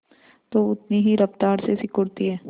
तो उतनी ही रफ्तार से सिकुड़ती है